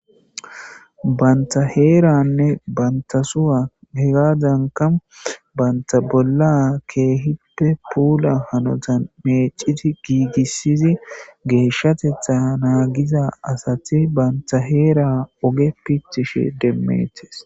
banta heeranne bantasua he gadanka banta bolla keehippe puula hanotan meeciti giigissizi geeshshatetha naagiza asati banta heera oge pitishe demmeethes